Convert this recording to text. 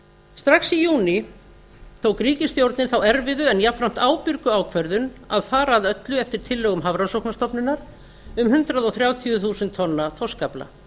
strax í júní tók ríkisstjórnin þá erfiðu en jafnframt ábyrgu ákvörðun að fara að öllu eftir tillögum hafrannsóknastofnunar um hundrað þrjátíu þúsund tonna þorskafla